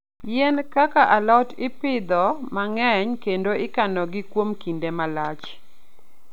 Yien kaka alot ipidho mang'eny kendo ikanogi kuom kinde malach.